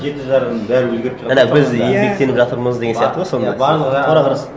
жеті жарғының бәрін өзгертіп жаңа біз еңбектеніп жатырмыз деген сияқты ғой сол мәнісі